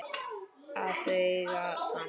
Að þau eigi saman.